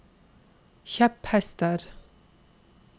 kjepphester